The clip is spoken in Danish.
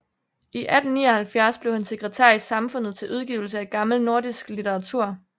I 1879 blev han sekretær i Samfundet til Udgivelse af gammel nordisk Litteratur